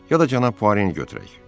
Ya da cənab Poareni götürək.